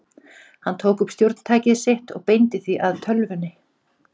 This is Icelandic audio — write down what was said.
Hann tók upp stjórntækið sitt og beindi því að tölvunni.